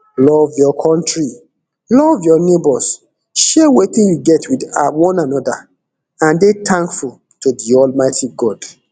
love your kontri love your neighbours share wetin you get wit one anoda and dey tankful to to almighty god